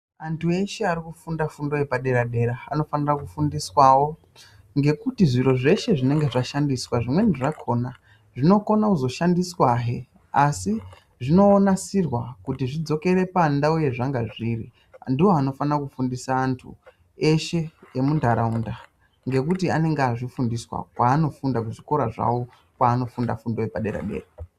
Antu eshe arikufunda fundo yepadera-dera anofanira kufundiswawo ngekuti zviro zveshe zvinenge zvashandiswa zvimweni zvakhona zvinokona kuzoshandiswahe asi zvinoonasirwa kuti zvidzokere pandau yezvanga zviri ndiwo anofanira kufundisa antu eshe emuntaraunda ngekuti anenge azvifundiswa kwanofunda kuzvikora zvawo kwanofunda fundo yepadera-dera.